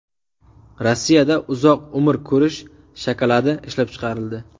Rossiyada uzoq umr ko‘rish shokoladi ishlab chiqarildi.